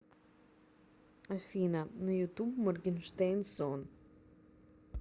афина на ютуб моргенштерн сон